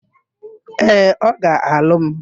Ee, ọ ga-alụ m.